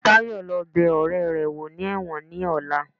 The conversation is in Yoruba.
Tayo lo bè oréré wo ní ẹwọ́n ní ọla